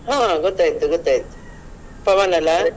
ಹ ಗೊತ್ತಾಯ್ತು ಗೊತ್ತಾಯ್ತು ಪವನ್ ಅಲ್ಲಾ?